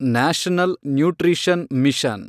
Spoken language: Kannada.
national nutrition mission